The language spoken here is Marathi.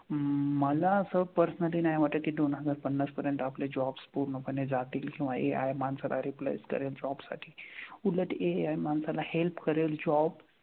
मला असं personally नाही वाटत कि दोन हजार पन्नास पर्यंत आपले jobs पूर्णपणे जातील किंवा AI माणसाला replace करेल job साठी. उलट AI माणसाला help करेल job,